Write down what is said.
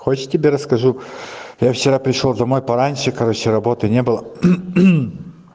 хочешь я тебе расскажу я вчера пришёл домой пораньше короче работы не было